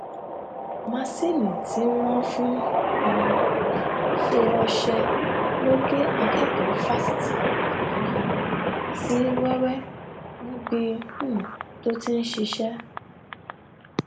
masinni tí wọn fi ń um ṣe ọṣẹ ló gé akẹkọọ fásitì ìbàdàn yìí sí wẹwẹ níbi um tó ti ń ṣiṣẹ